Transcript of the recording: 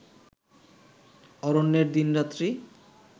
অরণ্যের দিনরাত্রি